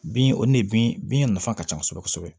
Bin o nin de bin nafa ka ca kosɛbɛ kosɛbɛ